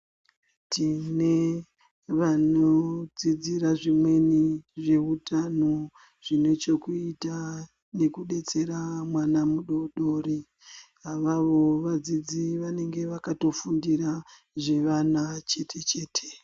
Tine vanodzidzira zvimweni nezveutano Zvine chekuita nekudetsera mwana mudodori avavo vadzidzi vanenga vakatofundira zvevana chete chete.